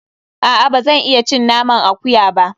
A'a, ba zan iya cin naman akuya ba.